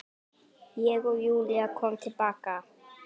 Og Júlía kom til baka.